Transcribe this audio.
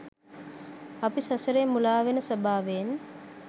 අපි සසරේ මුලාවෙන ස්වභාවයෙන්